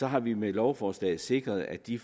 har vi med lovforslaget sikret at de